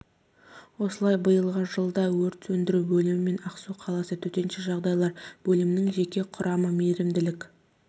осылай биылғы жылы да өрт сөндіру бөлімі мен ақсу қаласы төтенше жағдайлар бөлімінің жеке құрамы мейірімділік